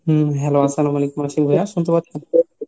হম hello আস্সালামালাইকুম আশিক ভাইয়া শুনতে পাচ্ছেন ?